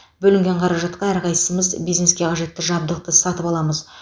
бөлінген қаражатқа әрқайсымыз бизнеске қажетті жабдықты сатып аламыз